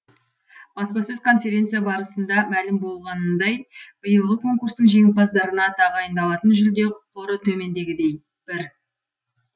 баспасөз конференция барысында мәлім болғанындай биылғы конкурстың жеңімпаздарына тағайындалатын жүлде қоры төмендегідей бір